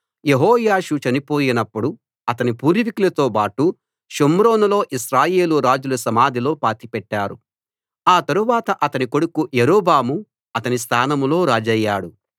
యెహోయాషు చనిపోయినప్పుడు అతని పూర్వీకులతోబాటు షోమ్రోనులో ఇశ్రాయేలు రాజుల సమాధిలో పాతిపెట్టారు ఆ తరువాత అతని కొడుకు యరొబాము అతని స్థానంలో రాజయ్యాడు